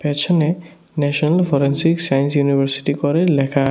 পেছনে national forensic science university করে ল্যাখা --